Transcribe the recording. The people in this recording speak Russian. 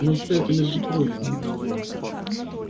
но всё это между прочим